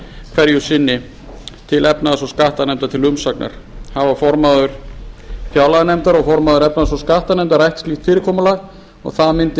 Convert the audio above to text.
hverju sinni til efnahags og skattanefndar til umsagnar hafa formaður fjárlaganefndar og formaður efnahags og skattanefndar rætt slíkt fyrirkomulag það mundi